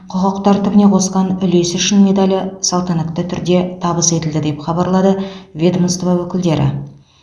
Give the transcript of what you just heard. құқық тәртібіне қосқан үлесі үшін медалі салтанатты түрде табыс етілді деп хабарлады ведомство өкілдері